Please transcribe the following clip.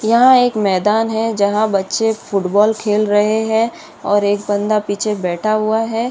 यहाँ एक मैदान है जहाँ बच्चे फुटबॉल खेल रहे हैं और एक बन्दा पीछे बैठा हुआ है।